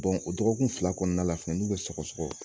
o dɔgɔkun fila kɔnɔna la fɛnɛ n'u bɛ sɔgɔsɔgɔ